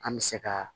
An bɛ se ka